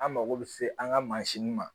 An mako bɛ se an ka mansin ma